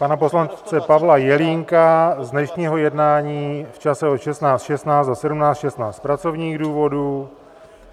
pan poslance Pavla Jelínka z dnešního jednání v čase od 16.16 do 17.16 z pracovních důvodů.